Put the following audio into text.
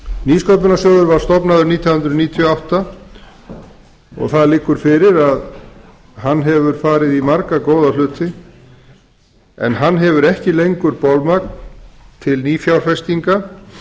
nýsköpunarsjóður var stofnaður nítján hundruð níutíu og átta og það liggur fyrir að hann hefur farið í marga góða hluti en hann hefur ekki lengur bolmagn til nýfjárfestinga